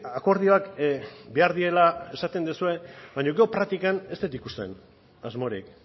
akordioak behar direla esaten duzue baina gero praktikak ez dut ikusten asmorik